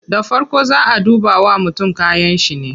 Da farko zaa a duba wa mutum kayanshi ne